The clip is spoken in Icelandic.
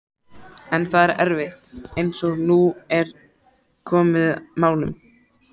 En það er erfitt, eins og nú er komið málum.